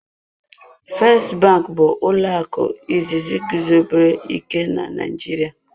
"First bank" bụ ụlọ akụ izizi guzobere ike na Naịjirịa.